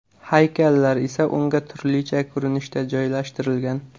Haykallar esa unga turlicha ko‘rinishda joylashtirilgan.